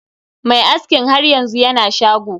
Mai askin har yanzu yana shago.